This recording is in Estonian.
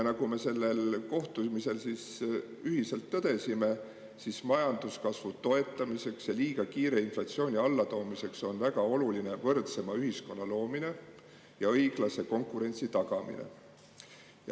Ja sellel kohtumisel me ühiselt tõdesime, et majanduskasvu toetamiseks ja liiga kiire inflatsiooni allatoomiseks on väga oluline võrdsema ühiskonna loomine ja õiglase konkurentsi tagamine.